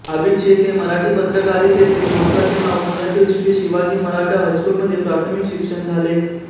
आबिद शेख हे मराठी पत्रकारीतेतील महत्त्वाचे नाव पुण्यातील श्री शिवाजी मराठा हायस्कूलमध्ये प्राथमिक शिक्षण झाले